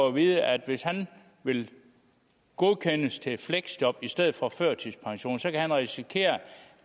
at vide at hvis han vil godkendes til fleksjob i stedet for førtidspension så kan han risikere